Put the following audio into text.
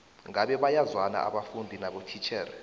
ngabe bayazwana abafundi nabotitjhere